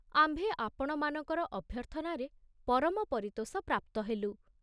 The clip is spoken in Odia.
ଆମ୍ଭେ ଆପଣମାନଙ୍କର ଅଭ୍ୟର୍ଥନାରେ ପରମ ପରିତୋଷ ପ୍ରାପ୍ତ ହେଲୁ।